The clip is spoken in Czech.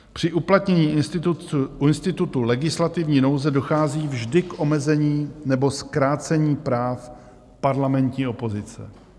Při uplatnění institutu legislativní nouze dochází vždy k omezení nebo zkrácení práv parlamentní opozice.